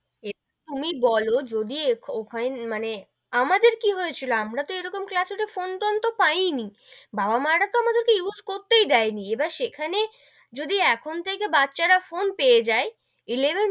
এ তুমি বোলো যদি ওখানে মানে আমাদের কি হয়েছিল আমরা তো এরকম class এ তো ফোন-টোন তো পাই নি, বাবা-মা রা তো আমাদের কে use করতে দেয় নি, এবার সেখানে যদি এখন থেকে বাচ্চা রা ফোন পেয়ে যাই eleven